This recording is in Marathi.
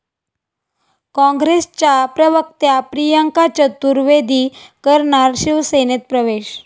काँग्रेसच्या प्रवक्त्या प्रियंका चतुर्वेदी करणार शिवसेनेत प्रवेश